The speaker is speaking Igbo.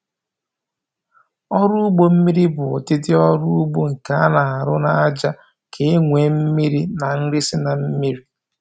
Ọrụ ugbo mmiri bụ ụdịdị ọrụ ugbo nke a na-arụ n'aja ka e were mmiri na nri si na mmiri